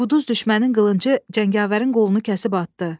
Quduz düşmənin qılıncı cəngavərin qolunu kəsib atdı.